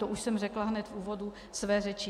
To už jsem řekla hned v úvodu své řeči.